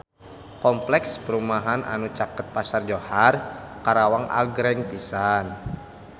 Kompleks perumahan anu caket Pasar Johar Karawang agreng pisan